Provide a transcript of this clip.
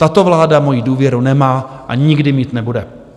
Tato vláda moji důvěru nemá a nikdy mít nebude.